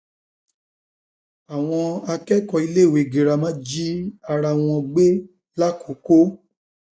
àwọn akẹkọọ iléèwé girama jí um ara wọn gbé làkọkọ